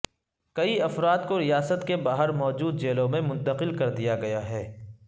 کئی افراد کو ریاست کے باہر موجود جیلوں میں منتقل کر دیا گیا ہے